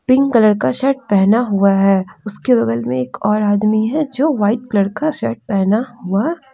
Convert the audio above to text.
pink colour का shirt पहना हुआ है उसके बगल में एक और आदमी है जो वाइट कलर का शर्ट पहना हुआ--